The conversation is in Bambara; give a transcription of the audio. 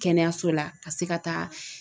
Kɛnɛyaso la ka se ka taa